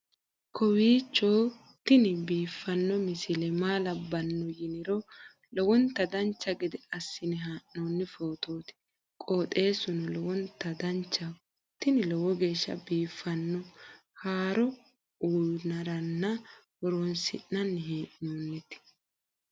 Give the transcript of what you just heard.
kowiicho tini biiffanno misile maa labbanno yiniro lowonta dancha gede assine haa'noonni foototi qoxeessuno lowonta danachaho. tini lowo geeshsha biiffanno haaro uyannara horoonsi'nanni hee'noonite